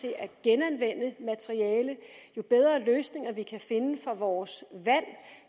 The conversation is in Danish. til at genanvende materiale jo bedre løsninger vi kan finde for vores vand